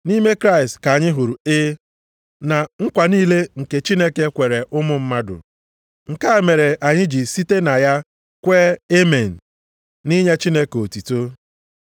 Nʼime Kraịst ka anyị hụrụ “E” na nkwa niile nke Chineke kwere ụmụ mmadụ. Nke a mere anyị ji site na ya kwee “Amen” nʼinye Chineke otuto.